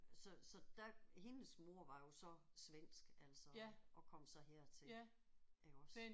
Så så der hendes mor var jo så svensk altså og kom så hertil iggås